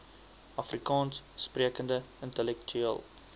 afrikaans sprekende intellektueel